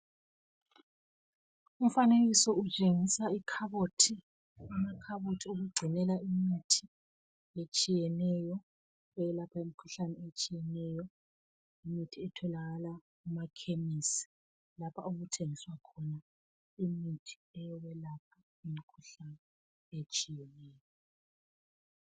Umfanekiso utshengisa ikhabothi , ikhabothi okugcinela imithi,.etshiyeneyo.,eyelapha imikhuhlane etshiyeneyo. lmithi etholakala kumakhemesi, lapho okuthengiswa khona imithi, eyokwelapha imikhuhlane etshiyeneyo.